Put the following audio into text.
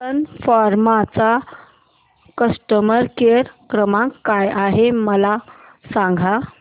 सन Pharma चा customer care क्रमांक काय आहे मला सांगा